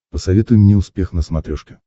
посоветуй мне успех на смотрешке